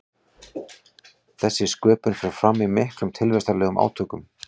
þessi sköpun fer fram í miklum tilvistarlegum átökum